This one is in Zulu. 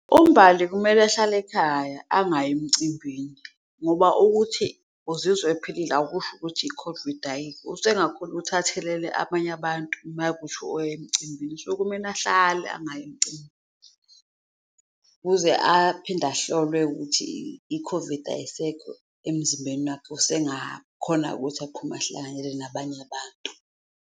UMbali kumele ehlale ekhaya angayi emcimbini ngoba ukuthi uzizwa ephilile akusho ukuthi i-COVID ayikho, usengakhona ukuthi athelele abanye abantu mawukuthi oya emcimbini so kumele ahlale angayi emcimbi kuze aphinde ahlolwe ukuthi i-COVID ayisekho emzimbeni wakhe, usengakhona-ke ukuthi aphume ahlanganyele nabanye abantu.